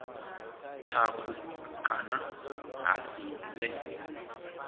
thukhu kana ha si vhe